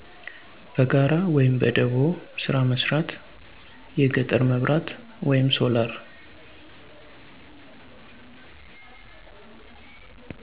በጋራ(በደቦ)ስራ መስራት፣ የገጠር መብራት(ሶላር)።